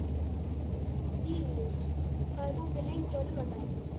Viglís, hvað er opið lengi á laugardaginn?